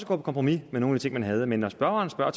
kompromis med nogle ting man havde med med spørgeren spørger